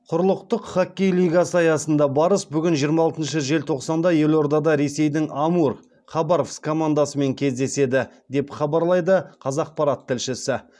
құрлықтық хоккей лигасы аясында барыс бүгін жиырма алтыншы желтоқсанда елордада ресейдің амур командасымен кездесті деп хабарлайды қазақпарат тілшісі